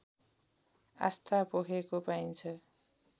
आस्था पोखेको पाइन्छ